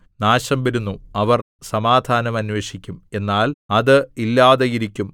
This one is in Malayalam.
നാശം വരുന്നു അവർ സമാധാനം അന്വേഷിക്കും എന്നാൽ അത് ഇല്ലാതെ ഇരിക്കും